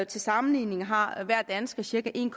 til sammenligning har hver dansker cirka en